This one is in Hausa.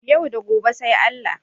Yau da gobe sai Allah